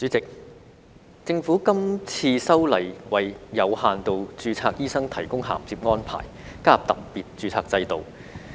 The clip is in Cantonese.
代理主席，政府這次修例為有限度註冊醫生提供銜接安排，加入特別註冊制度。